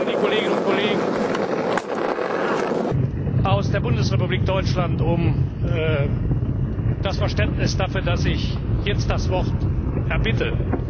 Ich bitte vor allen Dingen die Kolleginnen und Kollegen aus der Bundesrepublik Deutschland um Verständnis dafür, dass ich jetzt das Wort erbitte.